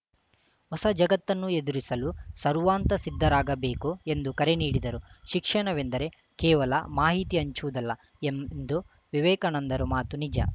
ಹೊಸ ಜಗತ್ತನ್ನು ಎದುರಿಸಲು ಸರ್ವಾಂತ ಸಿದ್ಧರಾಗಬೇಕು ಎಂದು ಕರೆ ನೀಡಿದರು ಶಿಕ್ಷಣವೆಂದರೆ ಕೇವಲ ಮಾಹಿತಿ ಹಂಚುವುದಲ್ಲ ಎಂದು ವಿವೇಕಾನಂದರು ಮಾತು ನಿಜ